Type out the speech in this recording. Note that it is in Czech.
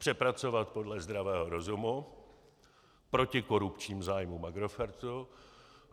Přepracovat podle zdravého rozumu, proti korupčním zájmům Agrofertu.